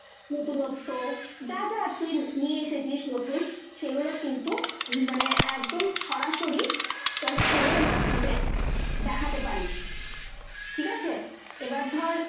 নতুনত্ব , যা যা তুই নিয়ে এসেছিস নতুন সেগুলো কিন্তু মানে একদম সরাসরি তোর phone এর মাধ্যমে দেখাতে পারিস। ঠিক আছে ? এবার ধর